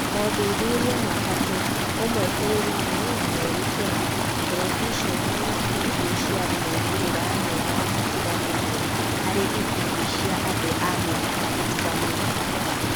Mothuthuria matatũ ( ũmwe bũrũri-inĩ na merĩ Kenya), Terebiceni na bindio ciarĩ moimĩrĩra mega matiganĩte harĩ ikundi cia andũ a mĩaka itiganĩte.